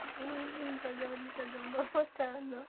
ну блин как говорится говно вот и оно